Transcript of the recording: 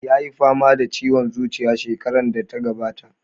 Ya yi fama da ciwon zuciya shekarar da ta gabata.